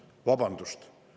Vabandust!